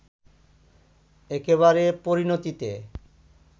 একেবারে পরিণতিতে